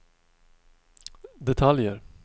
detaljer